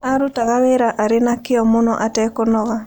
Aarutaga wĩra arĩ na kĩyo mũno atekũnoga.